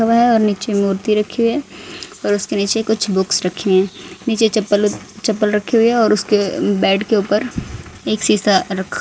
हुआ है और नीचे मूर्ति रखी हुई है और उसके नीचे कुछ बुक्स रखी है नीचे चप्पल चप्पल रखी हुई है और उसके बेड के ऊपर एक सीसा रखा--